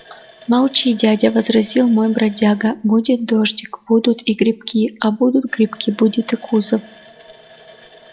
молчи дядя возразил мой бродяга будет дождик будут и грибки а будут грибки будет и кузов